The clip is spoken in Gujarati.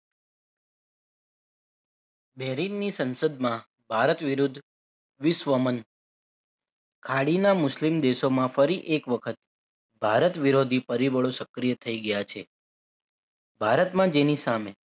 બેરિંગની સંસદમાં ભારત વિરુદ્ધ વિશ્વમંદ ખાડીના મુસ્લિમ દેશોમાં ફરી એક વખત ભારત વિરોધી પરિબળો સક્રિય થઈ ગયા છે ભારતના જેની સામે